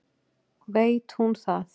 Veit hún það?